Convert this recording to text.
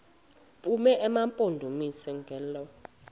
bume emampondomiseni ngelo